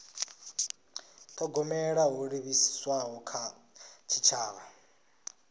thogomela ho livhiswaho kha tshitshavha